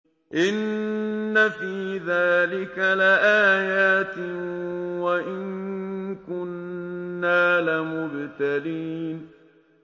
إِنَّ فِي ذَٰلِكَ لَآيَاتٍ وَإِن كُنَّا لَمُبْتَلِينَ